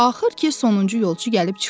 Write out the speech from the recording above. Axır ki, sonuncu yolçu gəlib çıxdı.